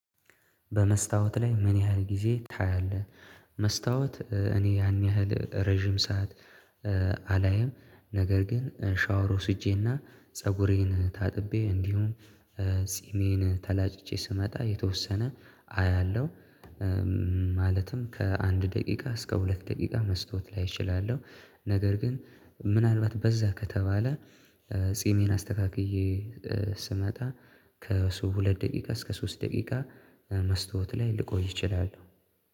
በመስታወት ላይ ምን ያህል ጊዜ ታያለህ? መስታወት እኔ ያን ያህል ረጅም ሰዓት አላይም ነገር ግን ሻወር ወስጄና ፀጉሬን ታጥቤ እንዲሁም ተላጭቼ ስመጣ የተወሰነ አያለሁ ማለትም ከአንድ ደቂቃ እስከ ሁለት ደቂቃ መስታወት ላይ እችላለሁ ነገር ግን ምናልባት በዛ ከተባለ ጺሜን አስተካክዬ ስመጣ ከሱ ሁለት ደቂቃ እስከ ሶስት ደቂቃ መስተዋት ላይ ልቆይ ይችላል